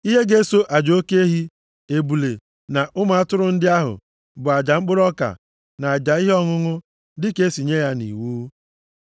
Ihe ga-eso aja oke ehi, ebule na ụmụ atụrụ ndị ahụ bụ aja mkpụrụ ọka na aja ihe ọṅụṅụ dịka e si nye ya nʼiwu.